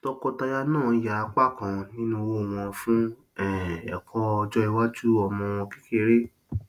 tọọkọtaya náà yà apá kan nínú owó wọn fún um ẹkọ ọjọiwájú ọmọ wọn kékeré